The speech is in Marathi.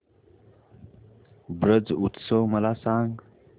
ब्रज उत्सव मला सांग